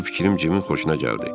Bu fikrim Cimin xoşuna gəldi.